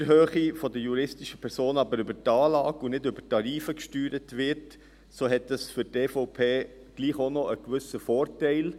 Wenn die Steuerhöhe der juristischen Personen aber über die Anlage und nicht über die Tarife gesteuert wird, so hat dies für die EVP doch auch noch einen gewissen Vorteil.